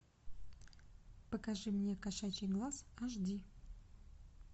покажи мне кошачий глаз аш ди